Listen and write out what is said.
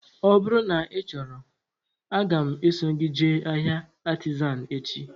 Ọ bụrụ na ị chọrọ, aga m eso gị jee ahịa Artizan echi